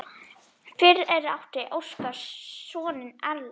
Fyrir átti Óskar soninn Erlend.